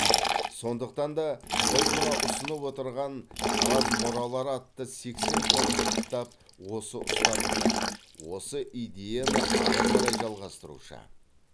сондықтан да біз мына ұсынып отырған тараз мұралары атты сексен томдық кітап осы ұстанымды осы идеяны ары қарай жалғастырушы